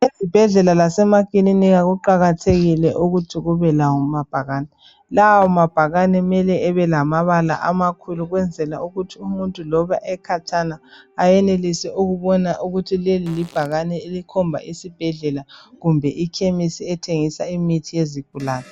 Ezibhedlela lasemakiliniki kuqakathekile ukuthi kubelamabhakani ,lawo mabhakani kumele abelamabala amakhulu ukwenzela ukuthi umuntu loba ekhatshana ayenelise ukubona ukuthi leli libhakane elikhomba isibhedlela kumbe ikhemisi ethengisa imithi yezigulane.